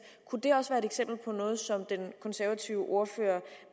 kunne det også være et eksempel på noget som den konservative ordfører